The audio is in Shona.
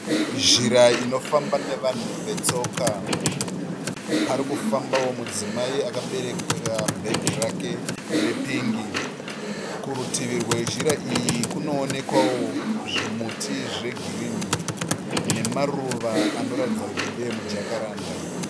Zhira inofamba nevanhu vetsoka, parikufambawo mudzimai akabereka bhegi rake repingi. Kurutivi kwezhira iyi kunoonekwawo zvimuti zvegirini nemaruva anoratidza kuti ndeemujakaranda.